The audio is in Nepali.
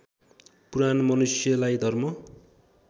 पुराण मनुष्यलाई धर्म